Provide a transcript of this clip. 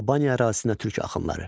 Albaniya ərazisinə türk axınları.